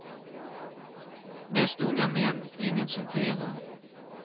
Mest unga män, ingen som firar.